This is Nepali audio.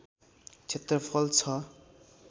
क्षेत्रफल छ